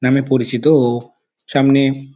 নামে পরিচিত ও সামনে --